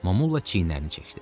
Momulla çiynlərini çəkdi.